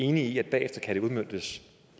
enig i at det bagefter kan udmøntes